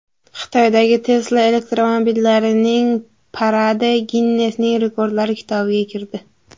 Xitoydagi Tesla elektromobillarining paradi Ginnesning rekordlari kitobiga kirdi.